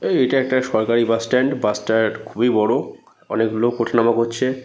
এই এটা একটা সরকারি বাস স্ট্যান্ড । বাস টা খুবই বড়ো। অনেক লোক উঠা নামা করছে।